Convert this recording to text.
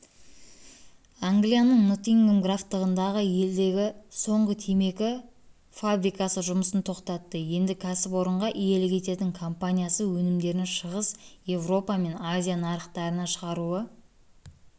англияның ноттингем графтығында елдегі соңғы темекі фабрикасы жұмысын тоқтатты енді кәсіпорынға иелік ететін компаниясы өнімдерін шығыс еуропа мен азия нарықтарына шығаруы